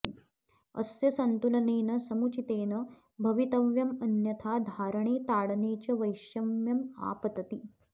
अस्य सन्तुलनेन समुचितेन भवितव्यमन्यथा धारणे ताडने च वैषम्यमापतति